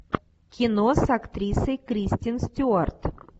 кино с актрисой кристен стюарт